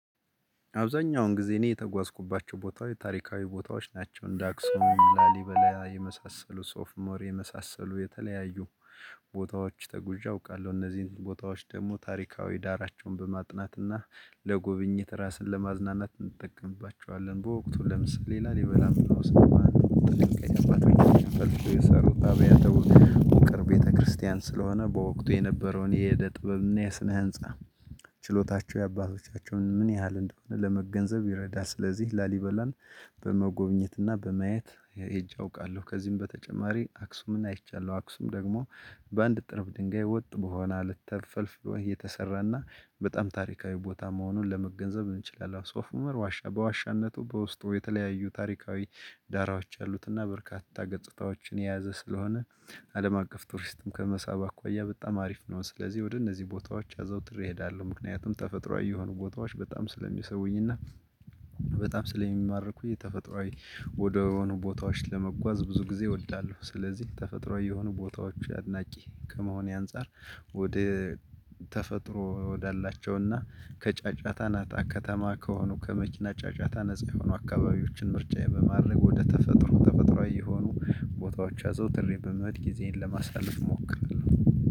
አብዛኛውን ጊዜ እኔ የተጓዝኩባቸው ቦታዎች ታሪካዊ ቦታዎች ናቸው እንደ አክሱም ላሊበላ የመሳሰሉ ሶፍኡሞር የመሳሰሉ የተለያዩ ቦታዎች ተጉዣ አውቃለሁ። እነዚህን ቦታዎች ደግሞ ታሪካዊ ዳራቸውን በማጥናት እና ለጉብኝት ራስን ለማዝናናት እንጠቀምባቸዋለን። በወቅቱ ለምሳሌ ላሊበላም ብንወስድ ውቅር ቤተክርስቲያን ስለሆነ በወቅቱ የነበረውን የዕደ ጥበብና የስነ ህንፃ ችሎታቸው የአባቶቻቸውን ምን ያህል እንደሆነ ለመገንዘብ ይረዳል። ስለዚህ ላሊበላን በመጎብኘት እና በማየት ሄጄ አውቃለሁ። ከዚህም በተጨማሪ አክሱምን አይቻለሁ አክሱም ደግሞ በአንድ ጥርብ ድንጋይ ወጥ በሆነ አለት ተፈልፍሎ እየተሰራና በጣም ታሪካዊ ቦታ መሆኑን ለመገንዘብ እንችላለን። ሶፍ ኡመር ዋሻ በዋሻነቱ በውስጡ የተለያዩ ታሪካዊ ዳራዎች አሉት። እና በርካታ ገጽታዎችን የያዘ ስለሆነ አለም አቀፍ ቱሪስትም ከመሳብ አኳያ በጣም አሪፍ ነው። ስለዚህ ወደ እነዚህ ቦታዎች አዘውትሬ እሄዳለሁ። ምክንያቱም ተፈጥሮአዊ የሆኑ ቦታዎች በጣም ስለሚሰቡኝእና እና በጣም ስለሚማርኩኝ ተፈጥሮአዊ ወደሆኑ ቦታዎች ለመጓዝ ብዙ ጊዜ እወዳለሁ። ስለዚህ ተፈጥሮ የሆኑ ቦታዎች አድናቂ ከመሆኔ አንፃር ወደ ተፈጥሮ ወዳላቸውና ከጫጫታ ናታ ከተማ ከሆኑ ከመኪና ጫጫታ ነፃ የሆኑ አካባቢዎችን ምርጫዬ በማድረግ ወደ ተፈጥሮ ተፈጥሮአዊ የሆኑ ቦታዎች አዘውትሬ በመሄድ ጊዜን ለማሳለፍ እሞክራለሁ።